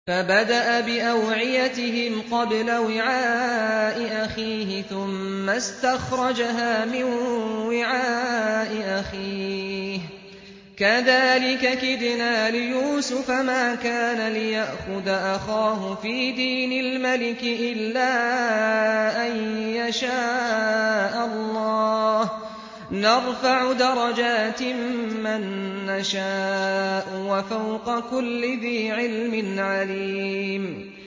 فَبَدَأَ بِأَوْعِيَتِهِمْ قَبْلَ وِعَاءِ أَخِيهِ ثُمَّ اسْتَخْرَجَهَا مِن وِعَاءِ أَخِيهِ ۚ كَذَٰلِكَ كِدْنَا لِيُوسُفَ ۖ مَا كَانَ لِيَأْخُذَ أَخَاهُ فِي دِينِ الْمَلِكِ إِلَّا أَن يَشَاءَ اللَّهُ ۚ نَرْفَعُ دَرَجَاتٍ مَّن نَّشَاءُ ۗ وَفَوْقَ كُلِّ ذِي عِلْمٍ عَلِيمٌ